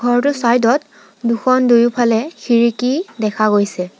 ঘৰটোৰ ছাইড ত দুখন দুয়োফালে খিৰিকী দেখা গৈছে।